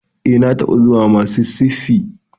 E, na taɓa zuwa Mississippi.